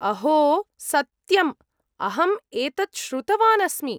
अहो! सत्यम्, अहम् एतत् श्रुतवान् अस्मि।